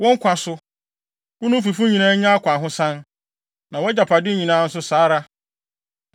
“Wo nkwa so! Wo ne wo fifo nyinaa nya akwahosan! Na wʼagyapade nyinaa nso saa ara.